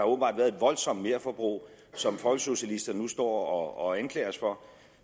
åbenbart været et voldsomt merforbrug som folkesocialisterne nu står og anklager os for